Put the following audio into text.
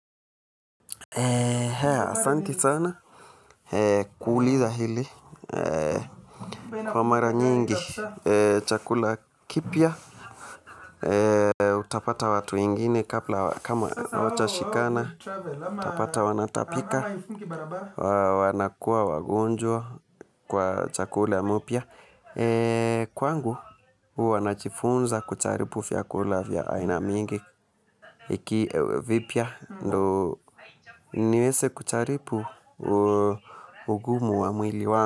Haya asante sana kuuliza hili kwa mara nyingi chakula kipya utapata watu wengine, kama watashikana, utapata wanatapika, wanakuwa wagonjwa kwa chakula mpya. Kwangu huwa najifunza kujaribu vyakula vya aina mingi iki vipya ndo niweze kujaribu ugumu wa mwili wangu.